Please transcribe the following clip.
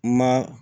Ma